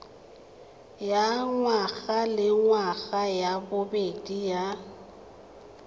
ya ngwagalengwaga ya bobedi ya